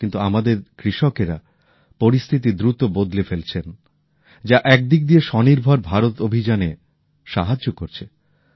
কিন্তু আমাদের কৃষকেরা পরিস্থিতি দ্রুত বদলে ফেলছেন যা একদিক দিয়ে আত্মনির্ভর ভারত অভিযানে সাহায্য করছে